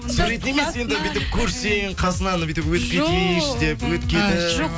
суретін емес енді бүйтіп көрсең қасынан бүйтіп өтіп кетейінші деп өтіп кетіп а жоқ